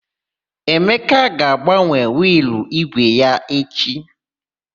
Emeka ga-agbanwe wịịlụ ígwè ya echi.